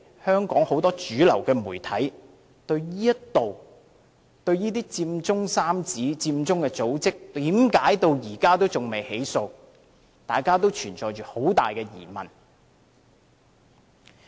香港很多主流媒體對這些佔中三子、佔中組織至今仍未被起訴，均存有很大疑問。